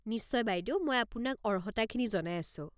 নিশ্চয়, বাইদেউ! মই আপোনাক অর্হতাখিনি জনাই আছোঁ।